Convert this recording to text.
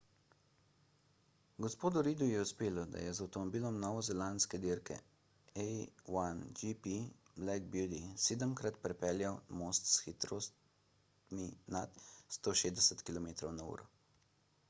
g. reidu je uspelo da je z avtomobilom novozelandske dirke a1gp black beauty sedemkrat prepeljal most s hitrostmi nad 160 km/h